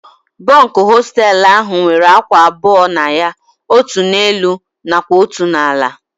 Bunkụ hostelụ ahụ nwere ákwà abụọ na ya. Otú n'elu nakwa otu n'ala